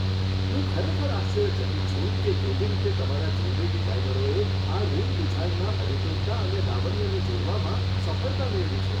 હું ખરેખર આશ્ચર્યચકિત છું કે કેવી રીતે તમારા જ્વેલરી ડિઝાઇનરોએ આ રીંગ ડિઝાઇનમાં અધિકૃતતા અને લાવણ્યને જોડવામાં સફળતા મેળવી છે.